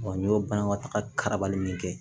n y'o banabatagabali min kɛ